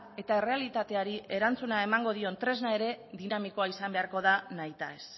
eta errealitateari erantzuna emango dion tresna ere dinamikoa izan beharko da nahitaez